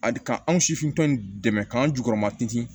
Adi k'anw sifinna dɛmɛ k'an jukɔrɔma te